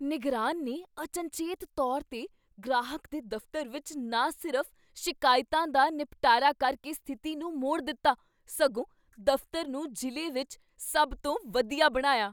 ਨਿਗਰਾਨ ਨੇ ਅਚਨਚੇਤ ਤੌਰ 'ਤੇ ਗ੍ਰਾਹਕ ਦੇ ਦਫ਼ਤਰ ਵਿਚ ਨਾ ਸਿਰਫ਼ ਸ਼ਿਕਾਇਤਾਂ ਦਾ ਨਿਪਟਾਰਾ ਕਰਕੇ ਸਥਿਤੀ ਨੂੰ ਮੋੜ ਦਿੱਤਾ, ਸਗੋਂ ਦਫ਼ਤਰ ਨੂੰ ਜ਼ਿਲ੍ਹੇ ਵਿਚ ਸਭ ਤੋਂ ਵਧੀਆ ਬਣਾਇਆ।